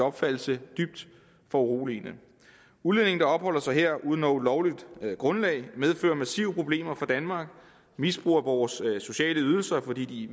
opfattelse dybt foruroligende udlændinge der opholder sig her uden lovligt grundlag medfører massive problemer for danmark misbrug af vores sociale ydelser fordi de